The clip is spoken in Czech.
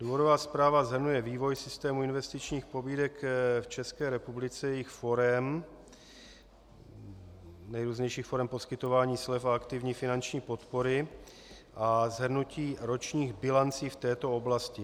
Důvodová zpráva shrnuje vývoj systému investičních pobídek v České republice, jejich forem, nejrůznějších forem poskytování slev a aktivní finanční podpory a shrnutí ročních bilancí v této oblasti.